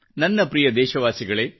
ನನ್ನ ಪ್ರಿಯ ದೇಶವಾಸಿಗಳೆ